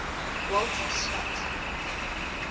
walter scott